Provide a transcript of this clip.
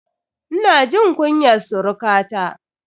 Ina jin kunyar surukata.